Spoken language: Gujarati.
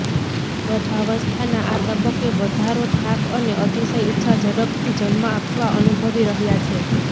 ગર્ભાવસ્થાના આ તબક્કે વધારો થાક અને અતિશય ઇચ્છા ઝડપથી જન્મ આપવા અનુભવી રહ્યા છે